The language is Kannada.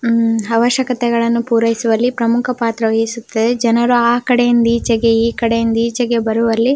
ಮ್ಮ್ ಅವಶ್ಯಕೆತೆಗಳನ್ನು ಪೂರೈಸುವಲ್ಲಿ ಪ್ರಮುಖ ಪಾತ್ರ ವಹಿಸುತ್ತದೆ ಜನರು ಆ ಕಡೆ ಇಂದೀಚೆಗೆ ಈ ಕಡೆ ಇಂದೀಚೆಗೆ ಬರುವಲ್ಲಿ --